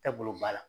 Tɛ bolo ba la